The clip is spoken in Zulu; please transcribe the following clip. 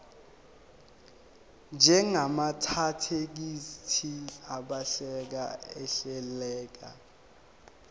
njengamathekisthi abhaleke ahleleka